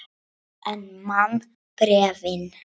En man bréfin.